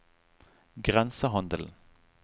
grensehandelen